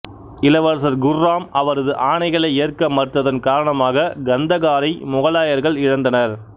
இளவரசர் குர்ராம் அவரது ஆணைகளை ஏற்க மறுத்ததன் காரணமாக கந்தகாரை முகலாயர்கள் இழந்தனர்